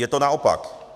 Je to naopak.